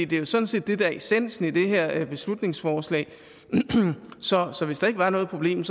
det er sådan set det der er essensen i det her beslutningsforslag så så hvis der ikke var noget problem